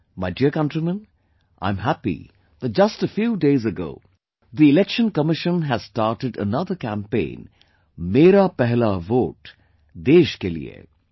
My dear countrymen, I am happy that just a few days ago the Election Commission has started another campaign 'Mera Pehla Vote Desh Ke Liye'